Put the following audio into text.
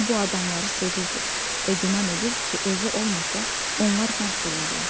O bu adamları sevirdi və güman edirdi ki, özü olmasa onlar məhv olarlar.